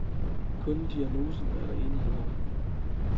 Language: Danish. Kun diagnosen er der enighed om.